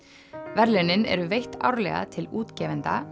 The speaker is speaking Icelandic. verðlaunin eru veitt árlega til útgefenda